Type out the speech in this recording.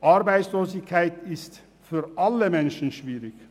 Arbeitslosigkeit ist für alle Menschen schwierig.